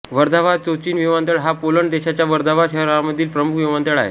Warsaw Chopin विमानतळ हा Poland देशाच्या वर्झावा शहरामधील प्रमुख विमानतळ आहे